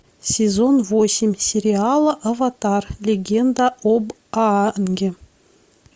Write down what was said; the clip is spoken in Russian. сезон восемь сериала аватар легенда об аанге